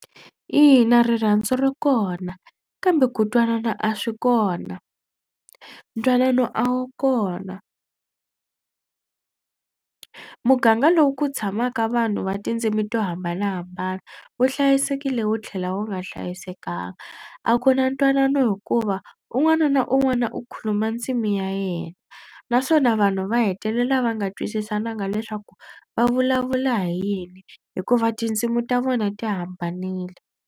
Ina rirhandzu ri kona kambe ku twanana a swi kona. Ntwanano a wu kona muganga lowu ku tshamaka vanhu va tindzimi to hambanahambana wu hlayisekile wu tlhela wu nga hlayisekanga. A ku na ntwanano hikuva un'wana na un'wana u khuluma ndzimi ya yena naswona vanhu va hetelela va nga twisisananga leswaku va vulavula hi yini hikuva tindzimi ta vona ti hambanile.